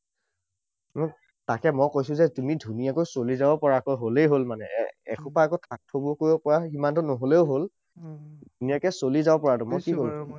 তাকে মই কৈছোঁ যে তুমি ধুনীয়াকৈ চলি যাব পৰাকৈ হলেই হল মানে। এসোপা আকৌ থাক থুক কৰিব পৰা সিমানতো নহলেও হল। ধুনীয়াকৈ চলি যাব পৰাটো